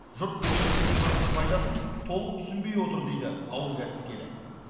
жұрт бөдене жұмыртқасының пайдасын толық түсінбей отыр дейді ауыл кәсіпкері